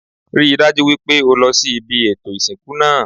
Rí i dájú wípé o lo sí ibi ètò ìsìnkú náà